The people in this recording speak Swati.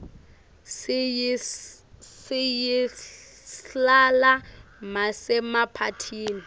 siyislala masemaphathini